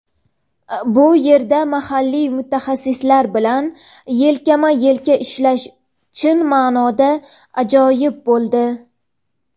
Bu yerda mahalliy mutaxassislar bilan yelkama-elka ishlash chin ma’noda ajoyib bo‘ldi.